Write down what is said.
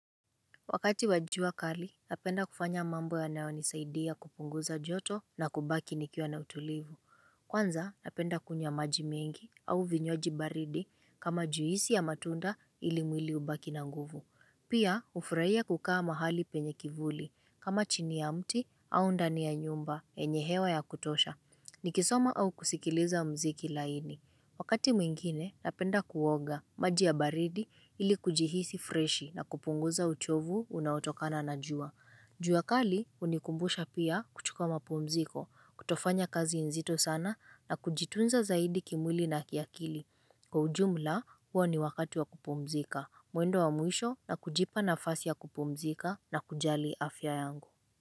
Wakati wajua kali, napenda kufanya mambo ya nao nisaidia kupunguza joto na kubaki nikiwa na utulivu. Kwanza, napenda kunywa majimengi au vinywaji baridi kama juisi ya matunda ilimwili ubaki na nguvu. Pia, hufuraia kukaa mahali penye kivuli kama chini ya mti au ndani ya nyumba enyehewa ya kutosha. Nikisoma au kusikiliza mziki laini. Wakati mwingine napenda kuoga maji ya baridi ili kujihisi freshi na kupunguza uchovu unaotokana na jua juakali unikumbusha pia kuchukua mapumziko, kutofanya kazi nzito sana na kujitunza zaidi kimwili na kiakili Kwa ujumla huo ni wakati wa kupumzika, mwendo wa mwisho na kujipa na fasi ya kupumzika na kujali afya yangu.